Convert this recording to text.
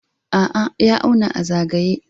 A'a, ya auna a zayaye